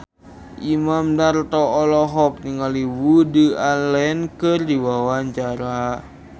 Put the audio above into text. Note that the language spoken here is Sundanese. Imam Darto olohok ningali Woody Allen keur diwawancara